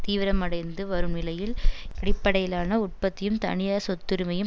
தீவிரமடைந்து வரும் நிலையில் அடிப்படையிலான உற்பத்தியும் தனியார் சொத்துரிமையும்